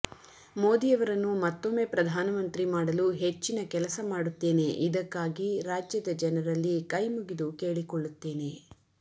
ಮೋದಿಯವರನ್ನು ಮತ್ತೊಮ್ಮೆ ಪ್ರಧಾನಮಂತ್ರಿ ಮಾಡಲು ಹೆಚ್ಚಿನ ಕೆಲಸ ಮಾಡುತ್ತೇನೆ ಇದಕ್ಕಾಗಿ ರಾಜ್ಯದ ಜನರಲ್ಲಿ ಕೈಮುಗಿದು ಕೇಳಿಕೊಳ್ಳುತ್ತೇನೆ